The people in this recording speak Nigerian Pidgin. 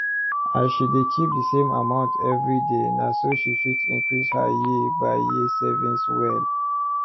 as she dey keep d same amount every day na so she fit increase her year by year savings well